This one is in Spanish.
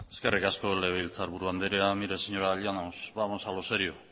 eskerrik asko legebiltzarburu andrea mire señora llanos vamos a lo serio